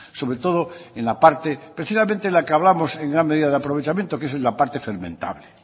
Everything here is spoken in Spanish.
sobre todo en la parte precisamente en la que hablamos en gran medida de aprovechamiento que es la parte fermentable